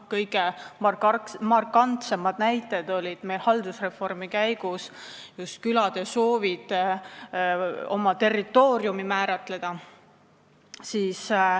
Kõige markantsemad näited olid külade soovid haldusreformi käigus oma territooriumi määratleda.